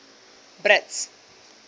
brits